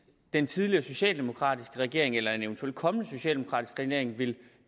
den tidligere socialdemokratiske regering eller en eventuel kommende socialdemokratisk regering vil